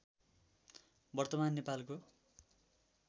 वर्तमान नेपालको